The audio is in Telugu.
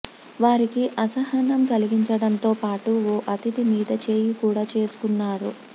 వారికి అసహనం కలిగించడంతో పాటు ఓ అతిథి మీద చేయి కూడా చేసుకున్నారు